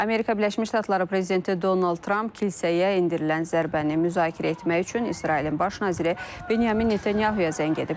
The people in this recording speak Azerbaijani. Amerika Birləşmiş Ştatları prezidenti Donald Tramp kilsəyə endirilən zərbəni müzakirə etmək üçün İsrailin baş naziri Benyamin Netanyahuya zəng edib.